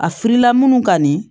A filila munnu ka di